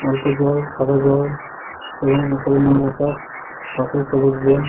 অল্প জল সাদা জল এবং উপরে নীল আকাশ পাশে সবুজ বন।